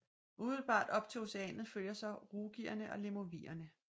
Umiddelbart op til Oceanet følger så rugierne og lemovierne